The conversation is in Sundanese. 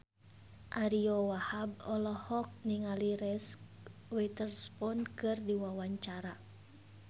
Ariyo Wahab olohok ningali Reese Witherspoon keur diwawancara